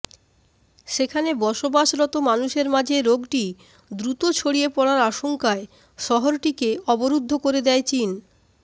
সেখানে বসবাসরত মানুষের মাঝে রোগটি দ্রুত ছড়িয়ে পড়ার আশঙ্কায় শহরটিকে অবরুদ্ধ করে দেয় চীন